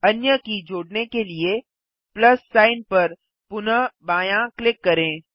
अन्य की जोड़ने के लिए प्लस सिग्न पर पुनः बायाँ क्लिक करें